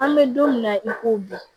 An bɛ don min na i ko bi